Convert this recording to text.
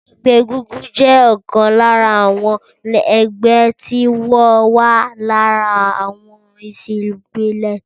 Ẹgbẹ́ egúngún jẹ ọ̀kan lára àwọn ẹgbẹ́ tí ó wà lára àwọn ẹ̀sìn ìbílè.